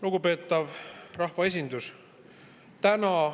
Lugupeetav rahvaesindus!